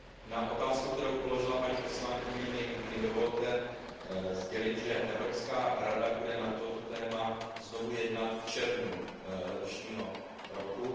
Na otázku, kterou položila paní poslankyně, mi dovolte sdělit, že Evropská rada bude na toto téma znovu jednat v červnu letošního roku.